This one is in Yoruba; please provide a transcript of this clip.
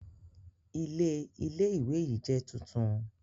Ilé Ilé ìwé yìí jẹ́ tuntun